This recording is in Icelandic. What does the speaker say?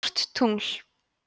stórt tungl